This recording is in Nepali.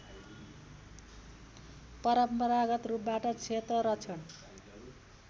परम्परागत रूपबाट क्षेत्ररक्षण